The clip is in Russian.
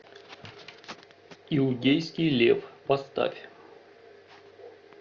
иудейский лев поставь